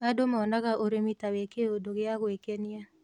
Andũ monaga ũrĩmi ta wĩ kĩũndũ gĩa gwĩkenia